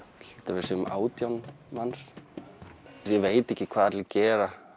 að við séum átján manns ég veit ekki hvað allir gera